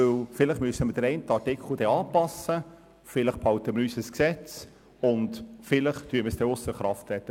Vielleicht werden wir den einen oder anderen Artikel anpassen müssen, vielleicht behalten wir dann unser Gesetz, und vielleicht werden wir es ausser Kraft setzen.